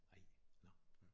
Ej nåh